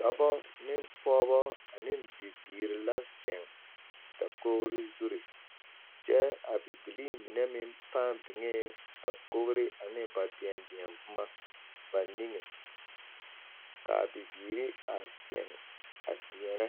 Dɔbɔ ane pɔgebɔ ane bibiiri la zeŋ dakogri zuri kyɛ a bibilii mine meŋ pãã biŋee dakogri ne ba deɛdeɛboma ba niŋe ka a bibiiri a zeŋ a deɛnɛ